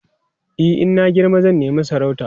e in na girma zan nema sarauta